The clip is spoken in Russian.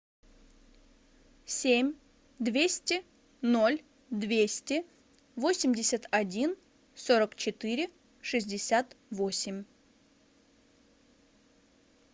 семь двести ноль двести восемьдесят один сорок четыре шестьдесят восемь